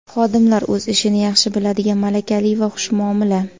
Xodimlar o‘z ishini yaxshi biladigan malakali va xushmuomala.